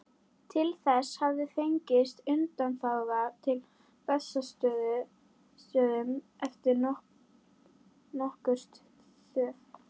Til þess hafði fengist undanþága á Bessastöðum eftir nokkurt þóf.